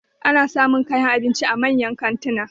Ana samun kayan abinci a manyan kantuna.